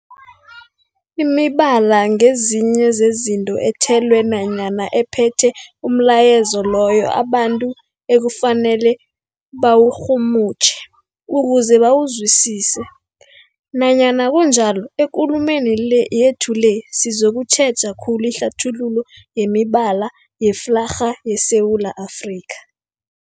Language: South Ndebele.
Imibala ngezinye zezinto ethelwe nanyana ephethe umlayezo loyo abantu ekufanele bawurhumutjhe ukuze bawuzwisise. Nanyana kunjalo, ekulumeni le yethu le sizokutjheja khulu ihlathululo yemibala yeflarha yeSewula Afrika.